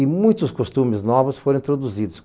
E muitos costumes novos foram introduzidos.